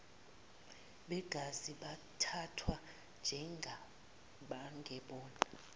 begazi bathathwa njengabangebona